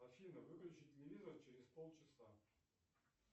афина включи телевизор через полчаса